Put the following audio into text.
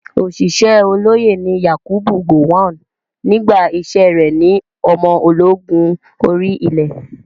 Ọ̀ṣìṣẹ́ olóyè ni Yakubu Gowon nígbà iṣẹ́ rẹ̀ ní ọmọ ológun orí ilẹ̀.